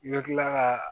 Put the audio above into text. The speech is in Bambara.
I bɛ tila ka